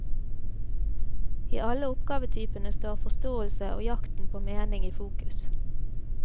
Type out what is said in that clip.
I alle oppgavetypene står forståelse og jakten på mening i fokus.